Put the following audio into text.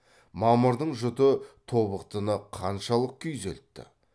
мамырдың жұты тобықтыны қаншалық күйзелтті